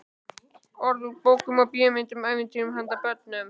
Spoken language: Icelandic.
Orð úr bókum og bíómyndum, ævintýrum handa börnum.